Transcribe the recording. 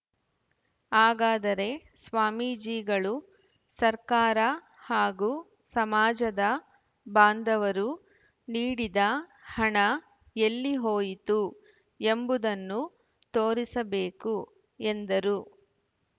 ಹಾಗಾದರೆ ಸ್ವಾಮೀಜಿಗಳು ಸರ್ಕಾರ ಹಾಗೂ ಸಮಾಜದ ಬಾಂಧವರು ನೀಡಿದ ಹಣ ಎಲ್ಲಿ ಹೋಯಿತು ಎಂಬುದನ್ನು ತೋರಿಸಬೇಕು ಎಂದರು